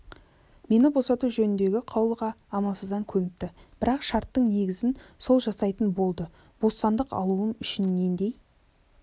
мені босату жөніндегі қаулыға амалсыздан көніпті бірақ шарттың негізін сол жасайтын болды бостандық алуым үшін нендей